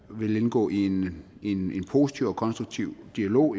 vil indgå i en positiv og konstruktiv dialog